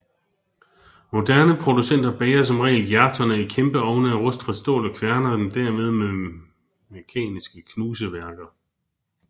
Moderne producenter bager som regel hjerterne i kæmpe ovne af rustfrit stål og kværner dem dermed med mekaniske knuseværker